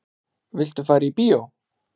Viltu fara í bíó?